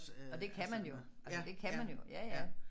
Og det kan man jo det kan man jo ja ja